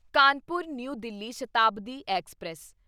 Kanpur New Delhi Shatabdi express